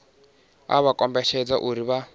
a vha kombetshedzei uri vha